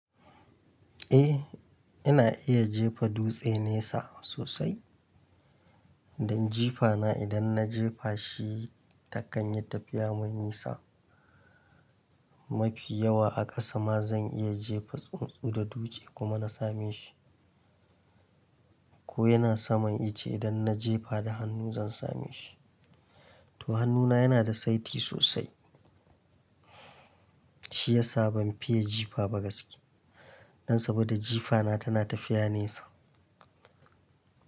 Eh, ina iya jefa dutse nesa sosai. Dan jifana idan na jefa shi ta kan yi tafiya mai nisa. Mafi yawa a ƙasa ma zan iya jefa tsuntsu da dutse kuma na same shi. Ko yana saman ice idan na jefa da hannu zan same shi. To hannuna yana da saiti sosai shiyasa ban fiye jifa ba gaske. Nan saboda jifana tana tafiya nesa.